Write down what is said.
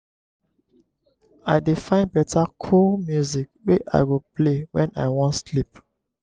i dey find beta cool music wey i go play wen i wan sleep.